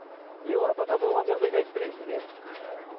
еуропада болған жағдайды айтып берейін сізге мхм